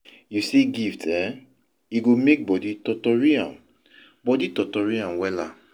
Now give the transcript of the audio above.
yu see gift eh, e go mek body totori am body totori am wella